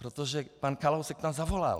Protože pan Kalousek tam zavolal.